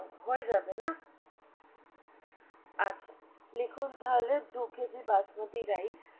হয়ে যাবে না, আচ্ছা, লিখুন তাহলে দু KG বাসমতি rice,